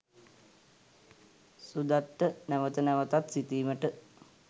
සුදත්ට නැවත නැවතත් සිතීමට